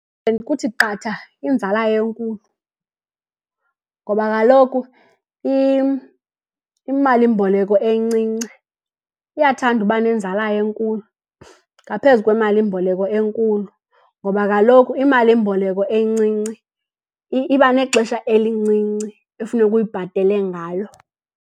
Kuthi qatha inzala enkulu ngoba kaloku imalimboleko encinci iyathanda ukuba nenzala enkulu ngaphezu kwemalimboleko enkulu ngoba kaloku imalimboleko encinci iba nexesha elincinci ekufuneka uyibhatele ngalo.